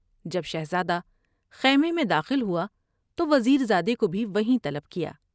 جب شہزادہ خیمے میں داخل ہوا تو وزیر زادے کو بھی وہیں طلب کیا ۔